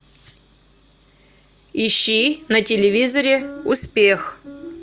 ищи на телевизоре успех